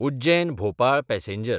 उज्जैन–भोपाळ passenger